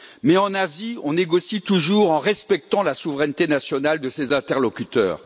Mais en Asie, on négocie toujours en respectant la souveraineté nationale de ses interlocuteurs.